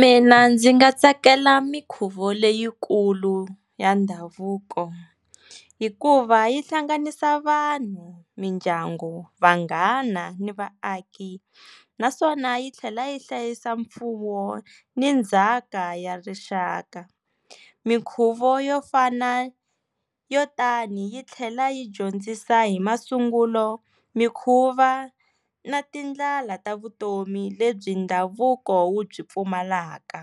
Mina ndzi nga tsakela mikhuvo leyikulu ya ndhavuko hikuva yi hlanganisa vanhu, mindyangu, vanghana ni vaaki naswona yi tlhela yi hlayisa mfuwo ni ndzhaka ya rixaka. Minkhuvo yo fana yo tani yi tlhela yi dyondzisa hi masungulo, mikhuva na tindlela ta vutomi lebyi ndhavuko wu byi pfumalaka